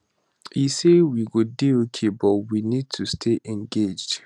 e um say we go dey okay but we need to stay engaged um